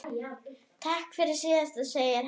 Takk fyrir síðast, segir hann.